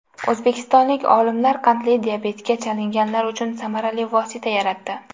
O‘zbekistonlik olimlar qandli diabetga chalinganlar uchun samarali vosita yaratdi.